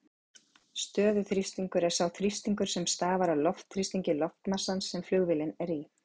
Stöðuþrýstingur er sá þrýstingur sem stafar af loftþrýstingi loftmassans sem flugvélin er í.